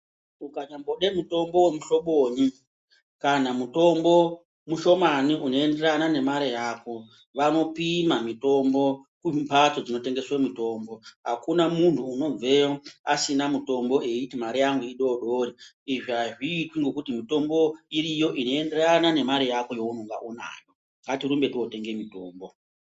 Ukanyambode mutombo muulobonyi kana mutombo mushomani unoenderana ngemare yako vanopima mutombo kumhatso dzinotengeswa mitombo .Akuna muntu anobveyo asina mutombo aiti mare yangu idodori. Izvi azviiti ngekuti mitombo iriyo inoenderana nemare yako yaunenge unayo, ngatirumbe totenge mutombo.